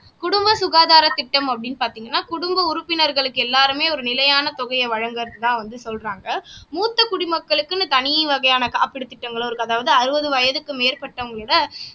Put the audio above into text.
குடும்ப சுகாதார திட்டம் அப்படின்னு பார்த்தீங்கன்னா குடும்ப உறுப்பினர்களுக்கு எல்லாருமே ஒரு நிலையான தொகையை வழங்குறதா வந்து சொல்றாங்க மூத்த குடிமக்களுக்குன்னு தனி வகையான காப்பீடு திட்டங்களும் இருக்கு அதாவது அறுபது வயதுக்கு மேற்பட்டவங்க இதை